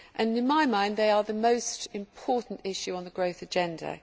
To my mind, they are the most important issue on the growth agenda.